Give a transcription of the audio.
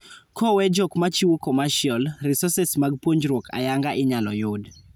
Kowee jok mchiwo commercial, resources mag puonjruok ayanga inyalo yud